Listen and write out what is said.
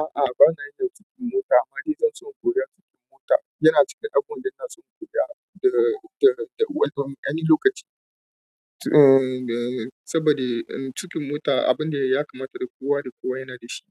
A'a bana yin tuƙin mota amma inason in koya tuƙin mota, yana ciki abubuwan da inaso in koya da, da, da wani lokaci. Umm, saboda tuƙin mota abu ne ya kamata da kowa da kowa yana dashi